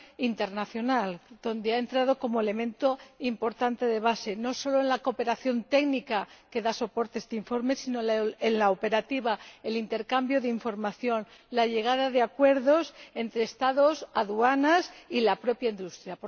internacional, que ha entrado como elemento importante de base, no solo en la cooperación técnica que da soporte a este informe, sino también en la operativa, con el intercambio de información y la llegada de acuerdos entre Estados, aduanas y la propia industria.